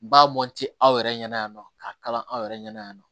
Ba mɔnti aw yɛrɛ ɲɛna yan nɔ k'a kalan aw yɛrɛ ɲɛna yan nɔ